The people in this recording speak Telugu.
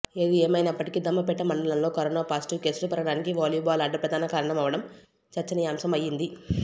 ఏది ఏమయినప్పటికీ దమ్మపేట మండలంలో కరోనా పాజిటివ్ కేసులు పెరగడానికి వాలీబాల్ ఆట ప్రధాన కారణం అవ్వడం చర్చనీయాంశం అయ్యింది